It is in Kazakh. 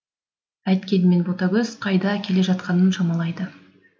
әйткенмен ботагөз қайда келе жатқанын шамалайды